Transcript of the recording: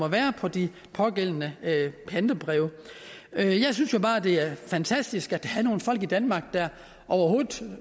være på de pågældende pantebreve jeg synes jo bare det er fantastisk at der er nogle folk i danmark der overhovedet